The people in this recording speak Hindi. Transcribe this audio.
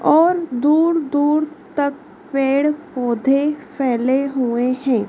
और दूर दूर तक पेड़ पोधै फैले हुए हैं।